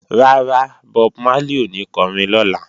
Rárá, Bob Marley ò ní kọrin lọ́la